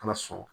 Ala sɔn